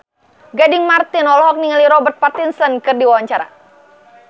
Gading Marten olohok ningali Robert Pattinson keur diwawancara